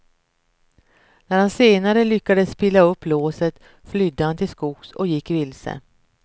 När han senare lyckades pilla upp låset flydde han till skogs och gick vilse.